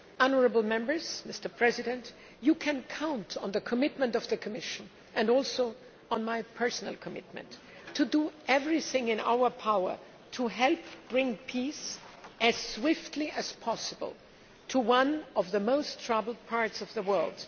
Honourable Members, you can count on the commitment of the Commission and also on my personal commitment to do everything in our power to help bring peace as swiftly as possible to one of the most troubled parts of the world.